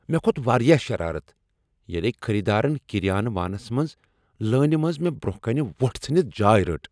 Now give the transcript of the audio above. مےٚ کھوٚت واریاہ شرارتھ ییٚلہ أکۍ خٔریٖدارن كِریانہٕ وانس منٛز لٲنہ منٛز مےٚ برٛونٛہہ کنہ وۄٹھ ژھنِتھ جاے رٔٹ۔